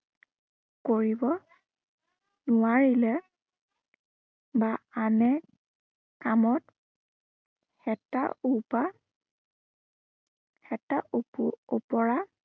কৰিব নোৱাৰিলে বা আনে, কামত এটা উপা এটা উপ উপৰা